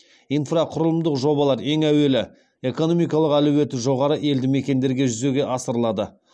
инфрақұрылымдық жобалар ең әуелі экономикалық әлеуеті жоғары елді мекендерде жүзеге асырылады